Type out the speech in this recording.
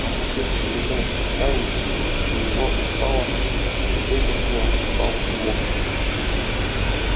от всех перенесённых испытаний у него устало не только тело устал и мозг